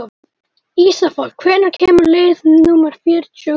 Ísafold, hvenær kemur leið númer fjörutíu og þrjú?